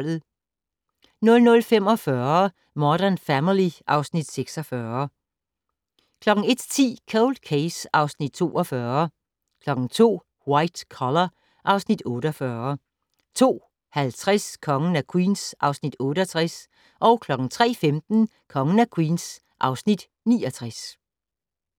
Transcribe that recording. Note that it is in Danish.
00:45: Modern Family (Afs. 46) 01:10: Cold Case (Afs. 42) 02:00: White Collar (Afs. 48) 02:50: Kongen af Queens (Afs. 68) 03:15: Kongen af Queens (Afs. 69)